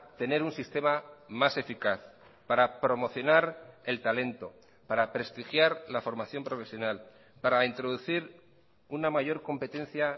tener un sistema más eficaz para promocionar el talento para prestigiar la formación profesional para introducir una mayor competencia